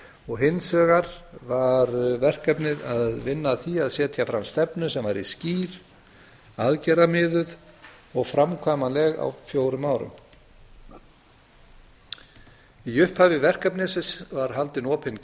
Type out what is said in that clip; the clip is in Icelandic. og hins vegar var verkefnið að vinna að því að setja fram stefnu sem væri skýr aðgerðamiðuð og framkvæmanleg á fjórum árum í upphafi verkefnisins var haldin opinn